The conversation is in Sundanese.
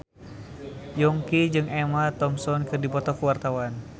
Yongki jeung Emma Thompson keur dipoto ku wartawan